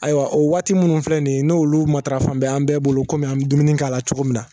Ayiwa o waati minnu filɛ nin ye n'olu marafa n bɛ an bɛɛ bolo komi an bɛ dumuni k'a la cogo min na